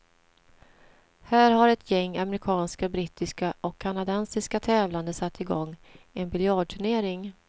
Här har ett gäng amerikanska, brittiska och kanadensiska tävlande satt i gång en biljardturnering.